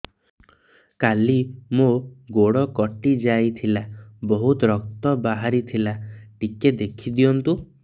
କାଲି ମୋ ଗୋଡ଼ କଟି ଯାଇଥିଲା ବହୁତ ରକ୍ତ ବାହାରି ଥିଲା ଟିକେ ଦେଖି ଦିଅନ୍ତୁ